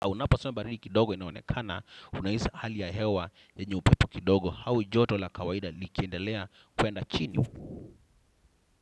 Unaposomba baridi kidogo inaonekana, unahisi hali ya hewa yenye upepo kidogo au joto la kawaida likiendelea kwenda chini.